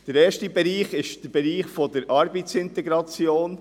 Der erste Bereich ist der Bereich der Arbeitsintegration.